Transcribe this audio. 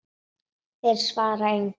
Þeir svara engu.